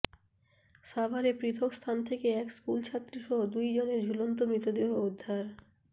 সাভারে পৃথক স্থান থেকে এক স্কুলছাত্রীসহ দুই জনের ঝুলন্ত মৃতদেহ উদ্ধার